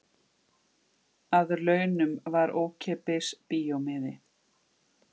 Að launum var ókeypis bíómiði.